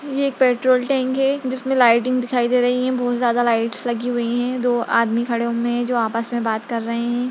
ये एक petrol tank है जिसमें लाइटिंग दिखाई दे रहीं है बहुत ज्यादा लाइट्स लगी हुई हैं दो आदमी खड़े हुए हैं जो आपस में बात कर रहें हैं।